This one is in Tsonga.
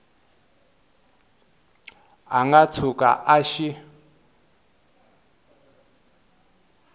a nga tshuka a xi